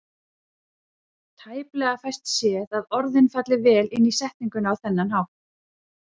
Tæplega fæst séð að orðin falli vel inn í setninguna á þennan hátt.